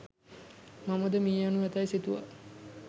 මමද මිය යනු ඇතැයි සිතුවා.